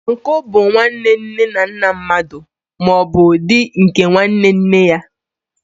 Uncle bụ nwanne nne na nna mmadụ, ma ọ bụ di nke nwanne nne ya.